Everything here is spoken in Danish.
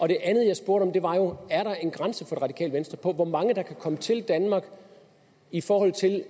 det andet jeg spurgte om var jo er der en grænse for det radikale venstre for hvor mange der kan komme til danmark i forhold til at